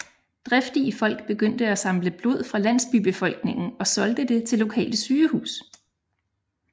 Driftige folk begyndte at samle blod fra landsbybefolkningen og solgte det til lokale sygehus